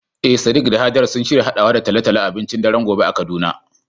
Eh sadiq da hajara sun shirya haɗawa da talo-talo a abincin daren gobe a kaduna.